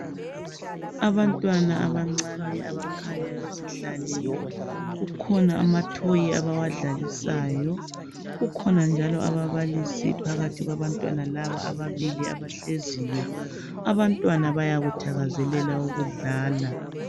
Abantwana abancane abakhanya bezihlalele kukhona amathoyi abawadlalisayo, kukhona njalo ababalisi phakathi kwabantwana laba ababili abahleziyo. Abantwana bayakuthakazelela ukudlala.